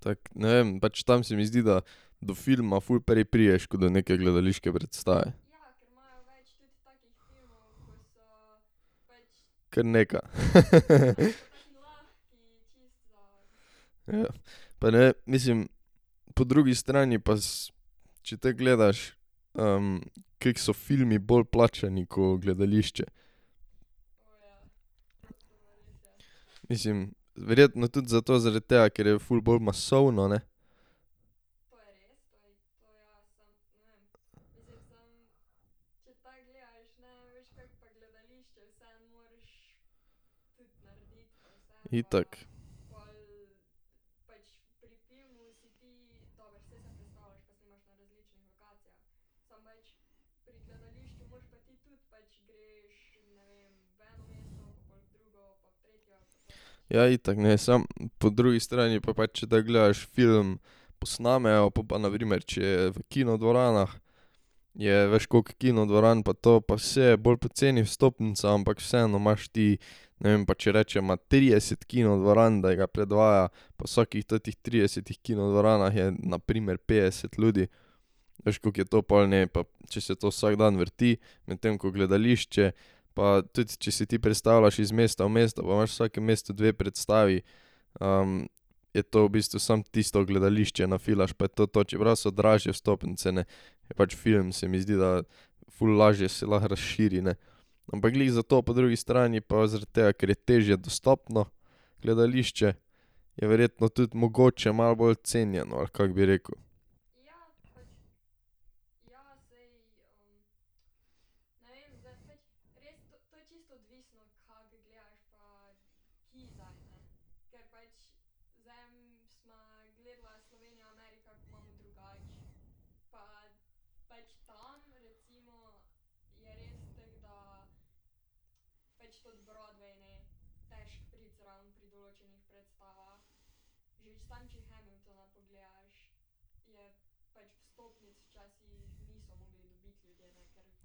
Tako, ne vem, pač tam se mi zdi, da do filma ful prej prideš, ko do neke gledališke predstave. Kar nekaj. Ja. Pa ne vem, mislim. Po drugi strani pa če tako gledaš, kako so filmi bolje plačani ko gledališče. Mislim, verjetno tudi zato zaradi tega, ker je ful bolj masovno, ne. Itak. Ja, itak, ne, samo po drugi strani pa pač, če tako gledaš, film posnamejo, po pa na primer, če je v kinodvoranah, je veš koliko kino dvoran pa to, pa saj je bolj poceni vstopnica, ampak vseeno imaš ti, ne vem, pa če rečeva trideset kinodvoran, da ga predvaja, pa vsakih tetih tridesetih kinodvoranah je na primer petdeset ljudi, veš, koliko je to pol, ne, pa če se to vsak dan vrti, medtem ko gledališče, pa tudi če si ti prestavljaš iz mesta v mesto pa imaš v vsakem mestu dve predstavi, je to v bistvu samo tisto gledališče nafilaš, pa je to to, čeprav so dražje vstopnice, ne. Je pač film, se mi zdi, da ful lažje se lahko razširi, ne. Ampak glih zato po drugi strani pa zaradi tega, ker je težje dostopno gledališče, je verjetno tudi mogoče malo bolj cenjeno, ali kako bi rekel.